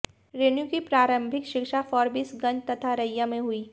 रेणु की प्रारंभिक शिक्षा फॉरबिसगंज तथा अररिया में हुई